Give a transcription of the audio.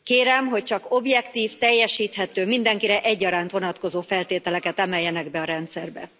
Kérem, hogy csak objektív, teljesíthető, mindenkire egyaránt vonatkozó feltételeket emeljenek be a rendszerbe.